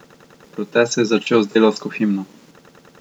Protest se je začel z delavsko himno.